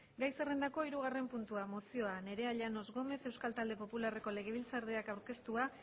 gai zerrendako hirugarren puntua mozioa nerea llanos gómez euskal talde popularreko legebiltzarkideak aurkeztua